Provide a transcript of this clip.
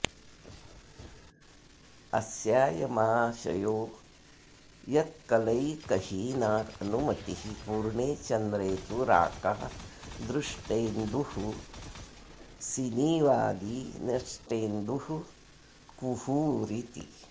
अस्यायमाशयो यत्कलैकहीना अनुमतिः पूर्णे चन्द्रे तु राका दृष्टेन्दुः सिनीवाली नष्टेन्दुः कुहूरिति